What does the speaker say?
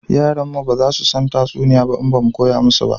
Yaran mu ba za su san tatsuniyoyi ba in ba mu koya musu ba